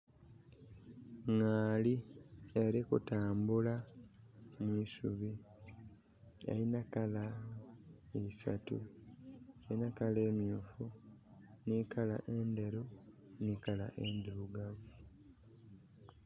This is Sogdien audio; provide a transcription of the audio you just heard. Ngaali eli kutambula mu isubi. Elina colour isatu. Elina colour emyuufu, nhi colour endheru, nhi colour endhirugavu.